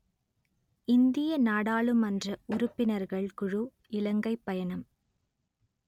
இந்திய நாடாளுமன்ற உறுப்பினர்கள் குழு இலங்கை பயணம்